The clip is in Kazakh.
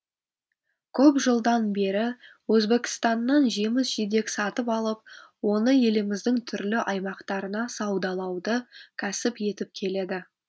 көп жылдан бері өзбекстаннан жеміс жидек сатып алып оны еліміздің түрлі аймақтарына саудалауды кәсіп етіп келеді